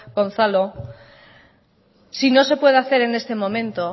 si no se puede hacer en este